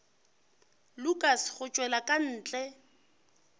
lukas go tšwela ka ntle